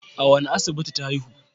A wane asibiti ta haihu?